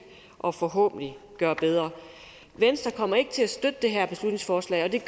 og forhåbentlig gøre bedre venstre kommer ikke til at støtte det her beslutningsforslag og det